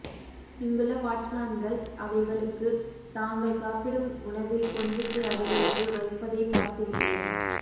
இங்குள்ள வாட்ச்மேன்கள் அவைகளுக்குத் தாங்கள் சாப்பிடும் உணவில் கொஞ்சத்தை அதுகளுக்கு வைப்பதைப் பார்த்திருக்கிறேன்